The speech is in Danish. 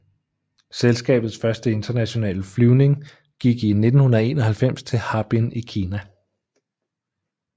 Selskabets første internationale flyvning gik i 1991 til Harbin i Kina